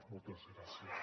moltes gràcies